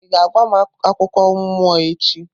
Ị ga-agwa m akụkọ mmụọ echi?